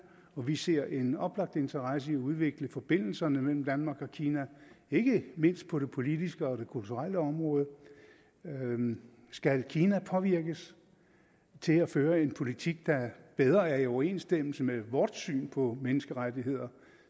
og vi ser en oplagt interesse i at udvikle forbindelserne mellem danmark og kina ikke mindst på det politiske og det kulturelle område skal kina påvirkes til at føre en politik der bedre er i overensstemmelse med vort syn på menneskerettigheder